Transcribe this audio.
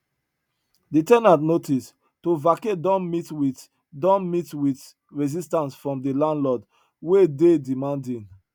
de ten ant notice to vacate don meet wit don meet wit resistance from de landlord wey dey demanding